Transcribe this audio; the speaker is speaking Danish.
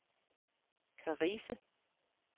Karise